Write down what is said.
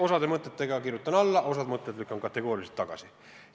Osale mõtetele kirjutan alla, osa mõtteid lükkan kategooriliselt tagasi.